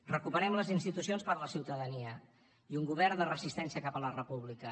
recuperem les institucions per la ciutadania i un govern de resistència cap a la república